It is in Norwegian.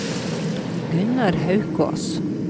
Gunnar Haukås